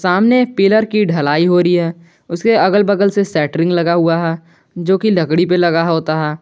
सामने पिलर की ढलाई हो रही है उसके अगल बगल से सेंटरिंग लगा हुआ है जो की लकड़ी पर लगा होता है।